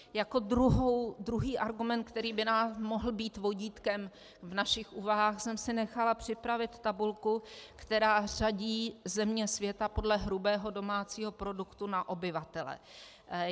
Jako druhý argument, který by nám mohl být vodítkem v našich úvahách, jsem si nechala připravit tabulku, která řadí země světa podle hrubého domácího produktu na obyvatele.